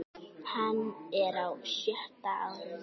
Hann er á sjötta árinu.